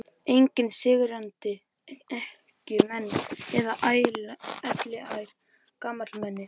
Engir syrgjandi ekkjumenn eða elliær gamalmenni.